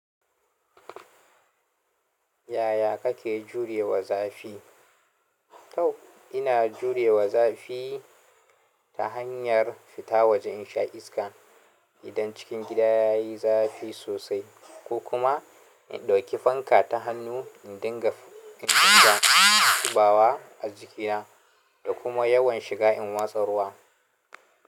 Yaya kake jurewa zafi? Toh ina jurewa zafi ta hanyar fita waje in sha iska idan cikin gida ya yi zafi sosai ko kuma in ɗauki fanka ta hannu in dinga kibawa a jikina da kuma yawan shiga in watsa ruwa.